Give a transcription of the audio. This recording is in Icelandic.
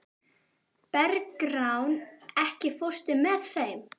Bergrán, ekki fórstu með þeim?